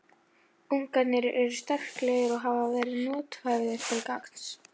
Uggarnir eru sterklegir og hafa verið nothæfir til gangs.